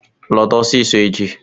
Lọta ọsịsọ echi!